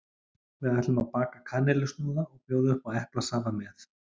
Við ætlum að baka kanilsnúða og bjóða upp á eplasafa með.